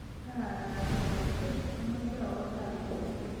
Kaagage ochei amache awe gaa nguno